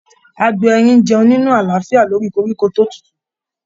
Agbo erin n jẹun ni alaafia lori koríko to tutu.